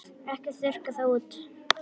Ekki þurrka það út.